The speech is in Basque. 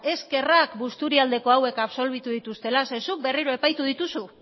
eskerrak busturialdeko hauek absolbitu dituztela zeren zuk berriro epaitu dituzu